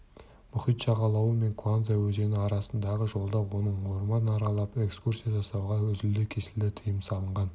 мұхит жағалауы мен куанза өзені арасындағы жолда оның орман аралап экскурсия жасауына үзілді-кесілді тыйым салған